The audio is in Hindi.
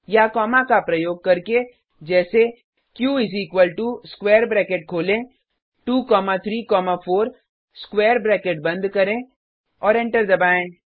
या कॉमा का प्रयोग करके जैसे Q is equal to square bracket खोलें 2 कॉमा 3 कॉमा 4 स्क्वायर ब्रैकेट बंद करें और एंटर दबाएँ